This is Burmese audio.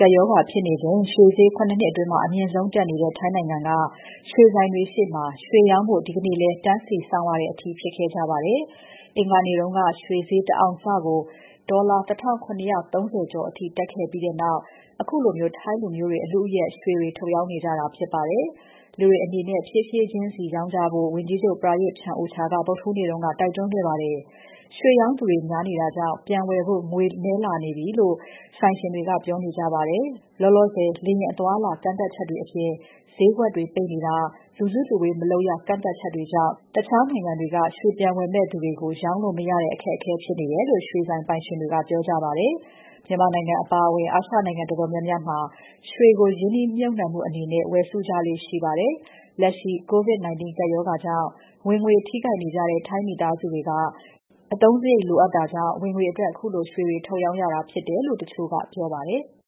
ကပ်ရောဂါ ဖြစ်နေချိန် ရွှေဈေး ခုနစ်နှစ်အတွင်း အမြင့်ဆုံးဖြစ်နေတဲ့ ထိုင်းနိုင်ငံက ရွှေဆိုင်တွေရှေ့ မှာ ရွှေရောင်းဖို့ ဒီနေ့လည်း တန်းစီစောင့်ရတဲ့အထိ ဖြစ်ခဲ့ကြပပါတယ်။ အင်္ဂါနေ့က ရွှေဈေး တအောင်စကို ဒေါ်လာ ၁,၇၃၀ ကျော် (US$1,731.25) အထိ တက်ခဲ့ပြီးနောက် ခုလို ထိုင်းလူမျိုးတွေ အလုအယက်ရွှေတွေ ထုတ်ရောင်းနေကြတာဖြစ်ပါတယ်။ လူတွေအနေနဲ့ ဖြည်းဖြည်းချင်းစီ ရောင်းကြဖို့ ဝန်ကြီးချုပ် Prayuth Chan-ocha က ဗုဒ္ဓဟူးနေ့က တိုက်တွန်းခဲ့ပါတယ်။ ရွှေရောင်းသူတွေ များနေတာကြောင့် ပြန်ဝယ်ဖို့ ငွေနည်းလာပြီလို့ ရွှေဆိုင်ရှင်တွေက ပြောနေကြပါတယ်။ လောလောဆယ် လေယာဉ်အသွားအလာ ကန့်သတ်ချက်တွေအပြင် ဈေးကွက်တွေပိတ်နေတာ၊ လူစုလူဝေးမလုပ်ရ ကန့်သတ်ချက်တွေကြောင့် တခြားနိုင်ငံတွေက ရွှေပြန်ဝယ်မယ့်သူတွေကို ရောင်းလို့ မရတဲ့ အခက်အခဲဖြစ်နေတယ်လို့ ရွှေဆိုင်ပိုင်ရှင်တွေက ပြောကြပါတယ်။ မြန်မာနိုင်ငံအပါအဝင် အာရှနိုင်ငံတော်တော်များများမှာ ရွှေကို ရင်းနှီးမြှပ်နှံမှုအနေနဲ့ ဝယ်စုကြလေ့ရှိပါတယ်။ လက်ရှိ COVID-19 ကပ်ရောဂါကြောင့် ဝင်ငွေထိခိုက်နေကြတဲ့ ထိုင်းမိသားစုတွေက အသုံးစရိတ်အတွက်လိုအပ်တဲ့ ဝင်ငွေအတွက် ခုလို ရွှေတွေ ထုတ်ရောင်းရတာဖြစ်တယ်လို့ တချို့က ပြောပါတယ်။